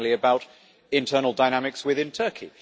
It is mainly about internal dynamics within Turkey.